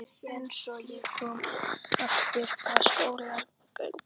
En svo ég komi aftur að skólagöngunni.